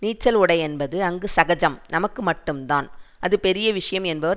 நீச்சல் உடை என்பது அங்கு சகஜம் நமக்கு மட்டும்தான் அது பெரிய விஷயம் என்பவர்